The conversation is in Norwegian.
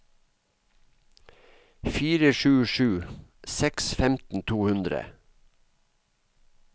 fire sju sju seks femten to hundre